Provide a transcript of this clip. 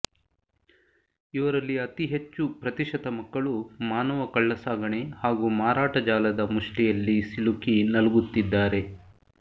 ಇವರಲ್ಲಿ ಅತಿ ಹೆಚ್ಚು ಪ್ರತಿಶತ ಮಕ್ಕಳು ಮಾನವ ಕಳ್ಳಸಾಗಣೆ ಹಾಗೂ ಮಾರಾಟ ಜಾಲದ ಮುಷ್ಠಿಯಲ್ಲಿ ಸಿಲುಕಿ ನಲಗುತ್ತಿದ್ದಾರೆ